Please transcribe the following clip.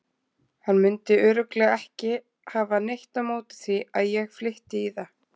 Hann mundi örugglega ekki hafa neitt á móti því að ég flytti í það.